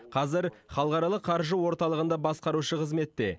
қазір халықаралық қаржы орталығында басқарушы қызметте